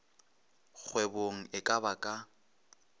kgwebong e ka ba ka